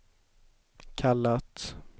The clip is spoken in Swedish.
kallat